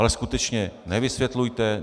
Ale skutečně nevysvětlujte.